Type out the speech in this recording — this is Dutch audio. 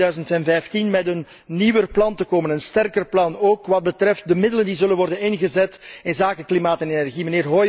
Tegen 2015 moet men met een nieuwer plan te komen, een sterker plan, ook wat betreft de middelen, die zullen worden ingezet voor klimaat en energie.